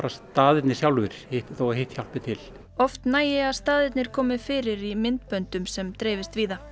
staðirnir sjálfir þó hitt hjálpi til oft nægi að staðirnir komi fyrir í myndböndum sem dreifist víða